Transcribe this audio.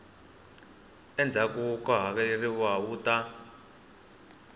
endzhaku ko hakeleriwa wu ta